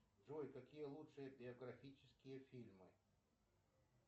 джой какие лучшие биографические фильмы